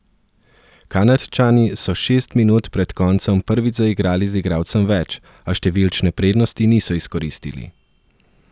Kanadčani so šest minut pred koncem prvič zaigrali z igralcem več, a številčne prednosti niso izkoristili.